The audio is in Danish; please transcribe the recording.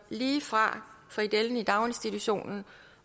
lige fra frikadellen i daginstitutionen